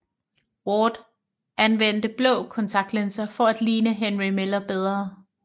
Ward anvendte blå kontaktlinser for at ligne Henry Miller bedre